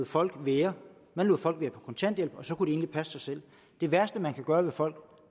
folk være man lod folk være på kontanthjælp og så kunne de egentlig passe sig selv det værste man kan gøre ved folk